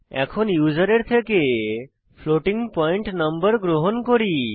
এখন ইউসারের থেকে ফ্লোটিং পয়েন্ট নম্বর গ্রহণ করি